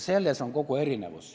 Selles on kogu erinevus.